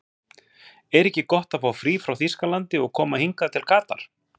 Er ekki gott að fá frí frá Þýskalandi og koma hingað til Katar?